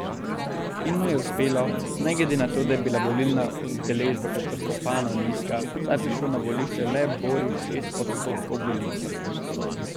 In mu je uspelo, ne glede na to, da je bila volilna udeležba katastrofalno nizka, saj je prišlo na volišče le borih šest odstotkov volilcev.